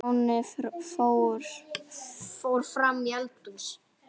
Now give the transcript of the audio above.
Stjáni fór fram í eldhús.